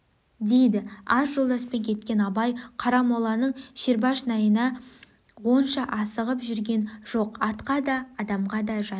дейді аз жолдаспен кеткен абай қарамоланың шербешнайына онша асығып жүрген жоқ атқа да адамға да жайлы